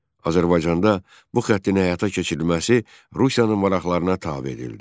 Azərbaycanda bu xəttin həyata keçirilməsi Rusiyanın maraqlarına tabe edildi.